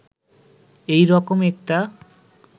এই রকম একটা